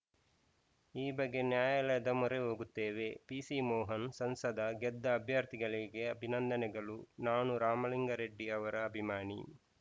ಈ ಬಗ್ಗೆ ನ್ಯಾಯಾಲಯದ ಮೊರೆ ಹೋಗುತ್ತೇವೆ ಪಿಸಿಮೋಹನ್‌ ಸಂಸದ ಗೆದ್ದ ಅಭ್ಯರ್ಥಿಗಳಿಗೆ ಅಭಿನಂದನೆಗಳು ನಾನು ರಾಮಲಿಂಗರೆಡ್ಡಿ ಅವರ ಅಭಿಮಾನಿ